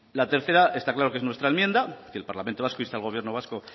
la tercera está claro que es nuestra enmienda que el parlamento vasco inste al gobierno vasco